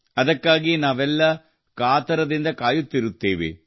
ಅದಕ್ಕಾಗಿ ನಾವೆಲ್ಲ ಕಾತುರದಿಂದ ಕಾಯುತ್ತಿರುತ್ತೇವೆ